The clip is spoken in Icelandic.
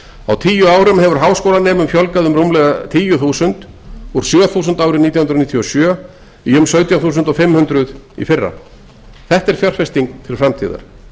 á tíu árum hefur háskólanemum fjölgað um ríflega tíu þúsund úr sjö þúsund árið nítján hundruð níutíu og sjö í rétt um sautján þúsund fimm hundruð árið tvö þúsund og sjö þetta er fjárfesting til framtíðar